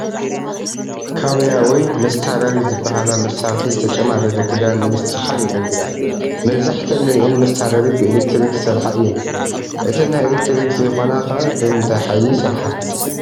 ካውያ ወይ መስታረሪ ዝበሃላ መሳርሒ ዝተጨማደደ ክዳን ንምስትኽኻል የግልግላ፡፡ መብዛሕትአን ንሪአን መስታረሪ ብኤለክትሪክ ዝሰርሐ እየን፡፡ እተን ናይ ኤለክትሪክ ዘይኮና ኸ ብምንታይ ሓይሊ ይሰርሓ?